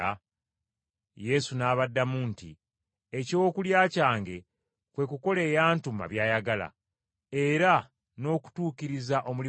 Yesu n’abaddamu nti, “Ekyokulya kyange kwe kukola eyantuma by’ayagala, era n’okutuukiriza omulimu gwe.